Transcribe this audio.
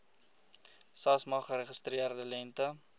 samsa geregistreerde lengte